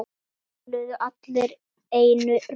Það töluðu allir einum rómi.